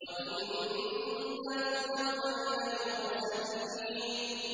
وَإِنَّ لُوطًا لَّمِنَ الْمُرْسَلِينَ